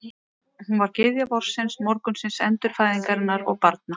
Hún var gyðja vorsins, morgunsins, endurfæðingarinnar og barna.